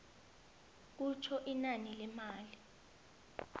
kutjho inani lemali